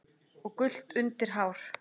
og gult undir hár.